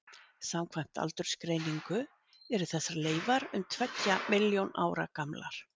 Samkvæmt aldursgreiningu eru þessar leifar um tveggja milljón ára gamlar.